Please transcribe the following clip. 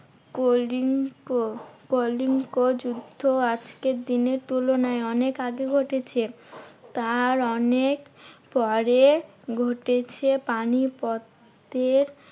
কলিঙ্গ কলিঙ্গ যুদ্ধ আজকের দিনের তুলনায় অনেক আগে ঘটেছে। তার অনেক পরে ঘটেছে পানিপথের